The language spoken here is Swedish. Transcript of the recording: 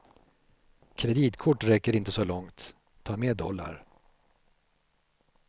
Kreditkort räcker inte så långt, ta med dollar.